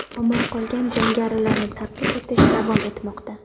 Omon qolgan jangarilarni ta’qib etish davom etmoqda.